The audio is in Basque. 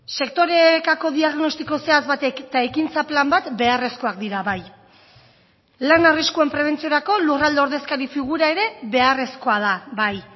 sektorekako diagnostiko zehatz batek eta ekintza plan bat beharrezkoak dira bai lan arriskuen prebentziorako lurralde ordezkari figura ere beharrezkoa da bai